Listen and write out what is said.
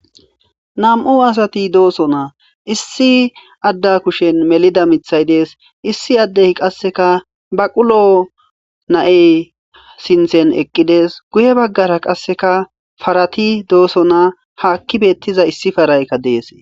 nam7u asati doosonaa issi adda kushen melida mithay dees issi addey qasseka baqulo na7ey sinthen eqqides guye baggara qasseka farati dooso naa ha akki beettiza issi paraykka deese